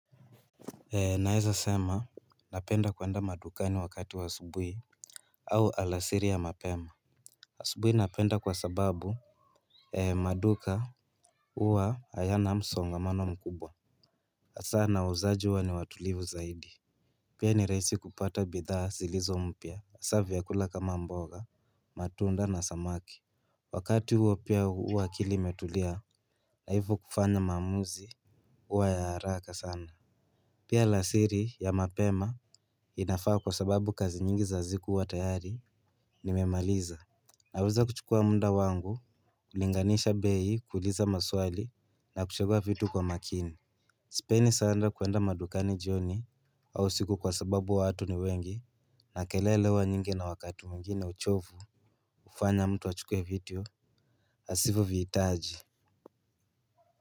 Naeza sema napenda kuenda madukani wakati wa asubuhi. Au alasiri ya mapema asubuhi napenda kwa sababu maduka uwa hayana msongamano mkubwa. Asa na wauzaji uwa ni watulivu zaidi pia ni rahisi kupata bidhaa zilizo mpya asa vyakula kama mboga matunda na samaki. Wakati huo pia uwa akili imetulia na hivo kufanya mamuzi uwa ya haraka sana. Pia alasiri ya mapema inafaa kwa sababu kazi nyingi za ziku huwa tayari nimemaliza. Naweza kuchukua muda wangu kulinganisha bei kuuliza maswali na kuchagua vitu kwa makini. Sipeni saanda kuenda madukani jioni au usiku kwa sababu watu ni wengi na kelele huwa nyingi na wakati mwingine uchovu. Ufanya mtu achukue vitu asivo viitaji.